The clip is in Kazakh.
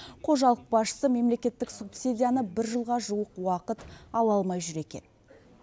қожалық басшысы мемлекеттік субсидияны бір жылға жуық уақыт ала алмай жүр екен